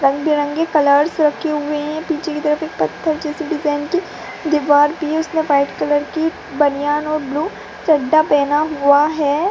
रंग-बिरंगी कलर्स रखे हुए हैं पीछे की तरफ एक पत्थर जैसे डिजाइन की दीवार भी है उसमें व्हाइट कलर की बनियान और ब्लू चड्डा पहना हुआ है।